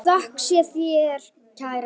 Þökk sé þér, kæra systir.